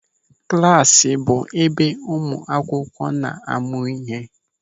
Klasi bụ ebe ụmụ akwụkwọ na-amụ ịhe.